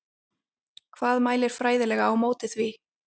Hvað mælir fræðilega á móti því?